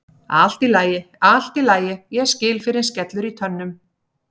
Allt í lagi, allt í lagi, ég skil fyrr en skellur í tönnum.